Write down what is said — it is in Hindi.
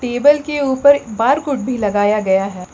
टेबल के ऊपर बार कोड भी लगाया गया है।